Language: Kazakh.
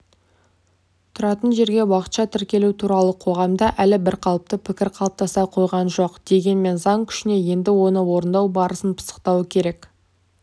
тұратын жерге уақытша тіркелу туралы қоғамда әлі бірқалыпты пікір қалыптаса қойған жоқ дегенмен заң күшіне енді оны орындау барысын пысықтау керек